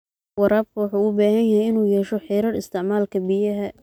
Waraabka wuxuu u baahan yahay inuu yeesho xeerar isticmaalka biyaha.